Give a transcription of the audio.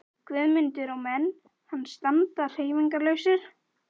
Guðmundur og menn hans standa hreyfingarlausir.